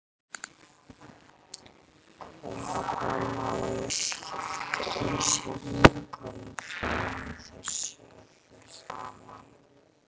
Hvaða máli skiptir þessi vinkona þín í þessu öllu saman?